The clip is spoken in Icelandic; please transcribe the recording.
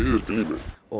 og